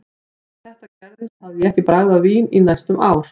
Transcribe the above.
Þegar þetta gerðist hafði ég ekki bragðað vín í næstum ár.